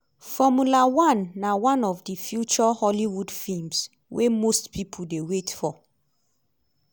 “formula one” na one of di feature hollywood feems wey most pipo dey wait for.